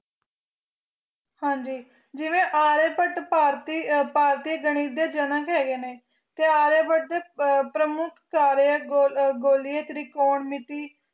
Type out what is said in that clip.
ਹਾਜੀ ਜਿਵੇਂ ਆਰੀਆ ਭੱਟ ਭਾਰਤੀ ਗਾਨਿਤ ਦੇ ਜਨਕ ਹੈਗੇ ਨੇ ਤੇ ਆਰਿਆ ਭੱਟ ਪ੍ਰਮੁੱਖ ਗੋਰੀਆਂ ਤਿਰਕੋਣ ਮਿੱਤੀ